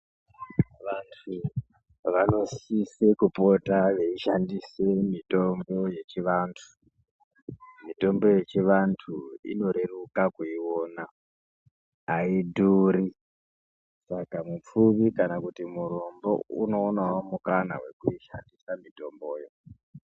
Vantu vanosise kupota veishandise mitombo yechivantu , mitombo yechivantu inoreruka kuiona aidhuri saka mupfumi kana kuti murombo unoonawo mukana wekuishandisa mitomboyo.